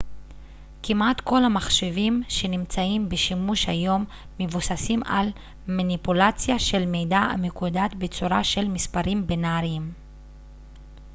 כמעט כל המחשבים שנמצאים בשימוש היום מבוססים על מניפולציה של מידע המקודד בצורה של מספרים בינאריים